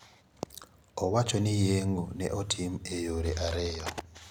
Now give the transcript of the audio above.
Owacho ni yeng`o ne otim e yore ariyo.